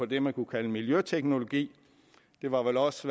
det man kunne kalde miljøteknologi det var vel også